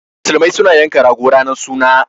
Muslimai su na yanka rago ranan sunna.